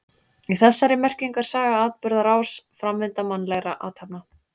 Í þessari merkingu er saga atburðarás, framvinda mannlegra athafna.